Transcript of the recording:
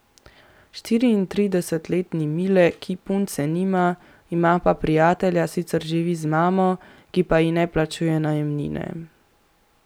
Štiriinštiridesetletni Mile, ki punce nima, ima pa prijatelja, sicer živi z mamo, ki pa ji ne plačuje najemnine.